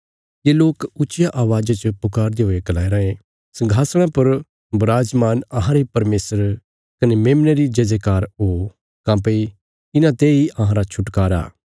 ये लोक ऊच्चिया अवाज़ च पुकारदे हुये गलाया राँये संघासणा पर बराजमान अहांरे परमेशर कने मेमने री जयजयकार हो काँह्भई इन्हांते इ अहांरा छुटकारा